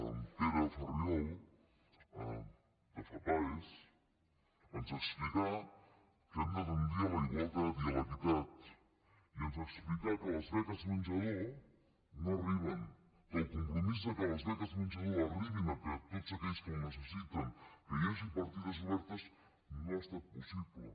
en pere farriol de fapaes ens explicà que hem de tendir a la igualtat i a l’equitat i ens explicà que les beques menjador no arriben que el compromís que les beques menjador arribin a tots aquells que ho necessiten que hi hagi partides obertes no ha estat possible